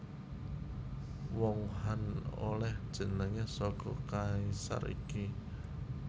Wong Han olèh jenengé saka kaisar iki